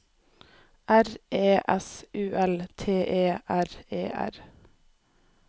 R E S U L T E R E R